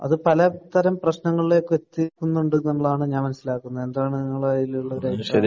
അത് പല തരം പ്രശ്നങ്ങളിലേക്ക് എത്തിക്കുന്നുണ്ടെന്നുള്ളതാണ് ഞാൻ മനസ്സിലാക്കുന്നത്. എന്താണ് നിങ്ങൾക്ക് അതിലുള്ള അഭിപ്രായം?